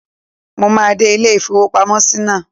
Mo máa dé ilé-ìfowópamọ́sí náà.